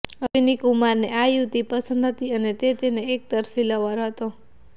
અશ્વિની કુમારને આ યુવતી પસંદ હતી અને તે તેનો એકતરફી લવર હતો